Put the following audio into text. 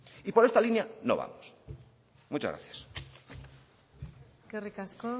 y por esta línea no vamos muchas gracias eskerrik asko